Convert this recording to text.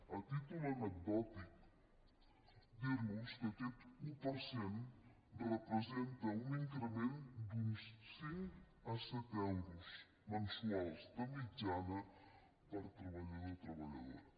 a títol anecdòtic dir los que aquest un per cent representa un increment d’uns cinc a set euros mensuals de mitjana per treballador treballadora